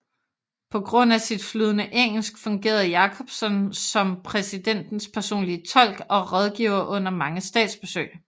På grund af sit flydende engelsk fungerede Jakobson som præsidentens personlige tolk og rådgiver under mange statsbesøg